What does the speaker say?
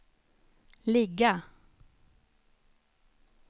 ligga